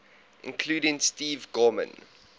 including steve gorman